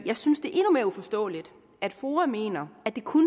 jeg synes det er endnu mere uforståeligt at foa mener at det kun